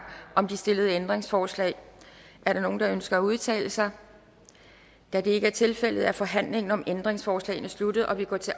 om de stillede ændringsforslag er der nogen der ønsker at udtale sig da det ikke er tilfældet er forhandlingen om ændringsforslagene sluttet og vi går til